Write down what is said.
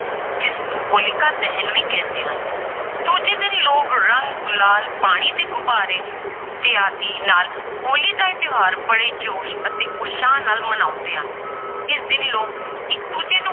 ਜਿਸਨੂੰ ਹੋਲਿਕਾ ਦਹਨ ਵੀ ਕਹਿੰਦੇ ਹਨ, ਦੂਜੇ ਦਿਨ ਲੋਕ ਰੰਗ, ਗੁਲਾਲ, ਪਾਣੀ ਦੇ ਗੁਬਾਰੇ ਇਤਆਦਿ ਨਾਲ ਹੋਲੀ ਦਾ ਇਹ ਤਿਉਹਾਰ ਬੜੇ ਜੋਸ਼ ਅਤੇ ਉਤਸ਼ਾਹ ਨਾਲ ਮਨਾਉਂਦੇ ਆ, ਇਸ ਦਿਨ ਲੋਕ ਇੱਕ ਦੂਜੇ ਨੂੰ